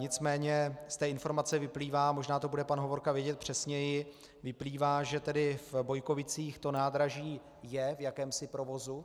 Nicméně z té informace vyplývá, možná to bude pan Hovorka vědět přesněji, vyplývá, že tedy v Bojkovicích to nádraží je v jakémsi provozu.